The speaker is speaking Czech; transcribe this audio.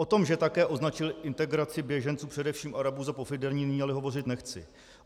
O tom, že také označil integraci běženců, především Arabů, za pofidérní, nyní ale hovořit nechci.